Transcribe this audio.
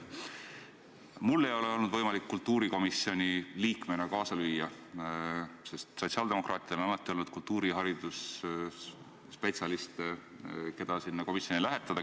Mul ei ole olnud võimalik kultuurikomisjoni liikmena kaasa lüüa, sest sotsiaaldemokraatidel on alati olnud teisi kultuuri ja hariduse spetsialiste, keda sinna komisjoni lähetada.